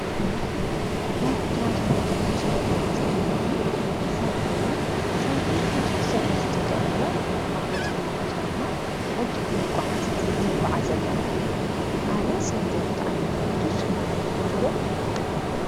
ካብ ትራንስፖርትን ተሽከርከርትን ሓንቲ ሳይክል እያ፡፡ ሳይክል ብዙሕ ሰብ እዩ ዝጥቀመላ፡፡ ካብ ቦታ ናብ ቦታ ድማ ብቕልጡፍ ንጐዓዘላ እያ፡፡ ኣነ ሳይክል ብጣዕሚ እየ ዝፈቱ፡፡ ንስኹም ከ ትፈትዉ ዶ?